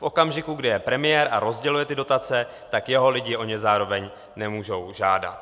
V okamžiku, kdy je premiér a rozděluje ty dotace, tak jeho lidi o ně zároveň nemůžou žádat.